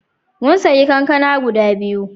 Mun sayi kankana guda biyu.